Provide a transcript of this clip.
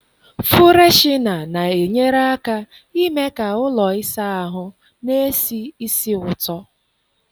Fụreshịna na-enyere aka ime ka ụlọ ịsa ahụ n'esi ísì ụtọ.